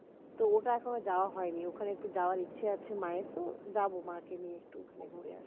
তো ওটা এখনো যাওয়া হয়নি তো ওখানে একটু যাওয়ার ইচ্ছে আছে মায়েরতো যাব মাকে নিয়ে একটু ঘুরে টুরে আসব